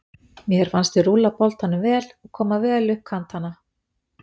Mér fannst við rúlla boltanum vel og koma vel upp kantana.